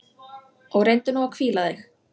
Og reyndu nú að hvíla þig.